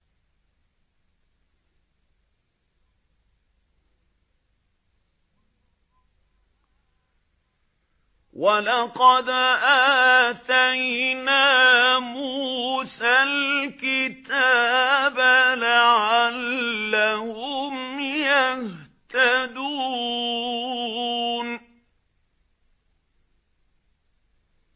وَلَقَدْ آتَيْنَا مُوسَى الْكِتَابَ لَعَلَّهُمْ يَهْتَدُونَ